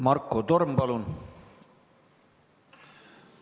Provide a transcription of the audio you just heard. Marko Torm, palun!